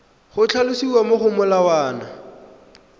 go tlhalosiwa mo go molawana